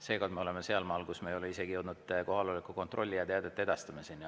Seekord me oleme sealmaal, kus me ei ole jõudnud isegi kohaloleku kontrollini ja teadete edastamiseni.